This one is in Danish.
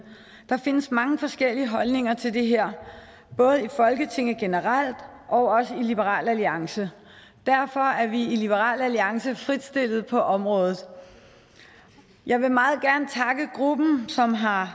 der findes mange forskellige holdninger til det her både i folketinget generelt og også i liberal alliance derfor er vi i liberal alliance fritstillet på området jeg vil meget gerne takke gruppen som har